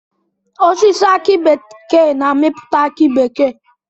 Osisi aki bekee na amiputa aki bekee.